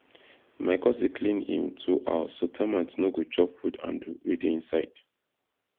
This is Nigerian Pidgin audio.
my cousin clean him tool house so termite no go chop wood handle wey dey inside